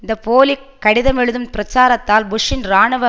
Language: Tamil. இந்த போலி கடிதமெழுதும் பிரச்சாரத்தால் புஷ்ஷின் இராணுவ